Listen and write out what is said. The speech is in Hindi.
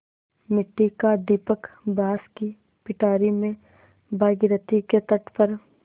मिट्टी का दीपक बाँस की पिटारी में भागीरथी के तट पर